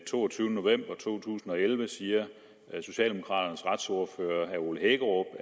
toogtyvende november to tusind og elleve siger socialdemokraternes retsordfører herre ole hækkerup